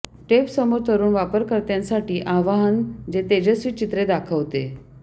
tape समोर तरुण वापरकर्त्यांसाठी आवाहन जे तेजस्वी चित्रे दाखवते